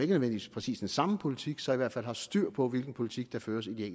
nødvendigvis præcis den samme politik så i hvert fald har styr på hvilken politik der føres i de